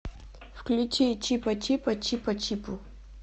включи чипачипа чипачипу